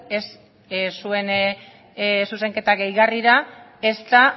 ez zuen zuzenketa gehigarrira ezta